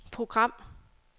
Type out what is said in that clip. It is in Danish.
program